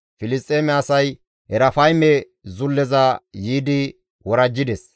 Filisxeeme asay Erafayme zulleza yiidi worajjides.